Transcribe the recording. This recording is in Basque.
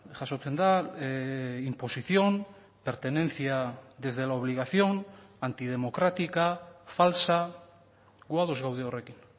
jasotzen da imposición pertenencia desde la obligación antidemocrática falsa gu ados gaude horrekin